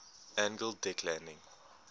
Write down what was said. angled deck landing